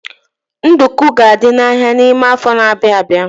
Nduku ga-adị n'ahia n'ime afọ n'abia abịa..